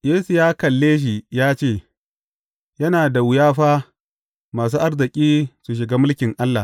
Yesu ya kalle shi ya ce, Yana da wuya fa, masu arziki su shiga mulkin Allah!